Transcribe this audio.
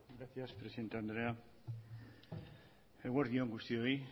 gracias presidente andrea eguerdi on guztioi